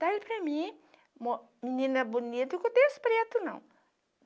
Da ele para mim, menina bonita com o terço preto, não.